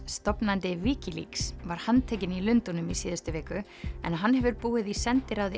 stofnandi Wikileaks var handtekinn í Lundúnum í síðustu viku en hann hefur búið í sendiráði